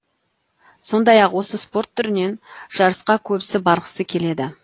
сондай ақ осы спорт түрінен жарысқа көбісі барғысы келеді